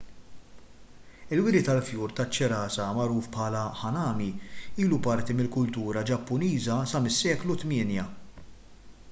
il-wiri tal-fjur taċ-ċirasa magħruf bħala hanami ilu parti mill-kultura ġappuniża sa mis-seklu 8